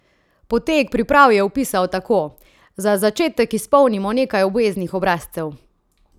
Potek priprav je opisal tako: "Za začetek izpolnimo nekaj obveznih obrazcev.